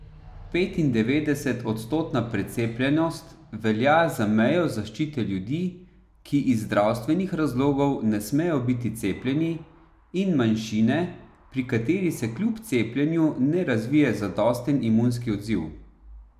Petindevetdesetodstotna precepljenost velja za mejo zaščite ljudi, ki iz zdravstvenih razlogov ne smejo biti cepljeni, in manjšine, pri kateri se kljub cepljenju ne razvije zadosten imunski odziv.